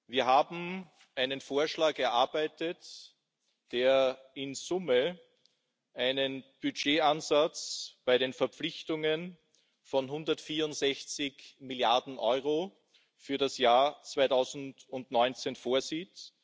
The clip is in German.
Wir haben einen Vorschlag erarbeitet, der in Summe einen Budgetansatz bei den Verpflichtungen von 164 Milliarden Euro für das Jahr 2019 vorsieht.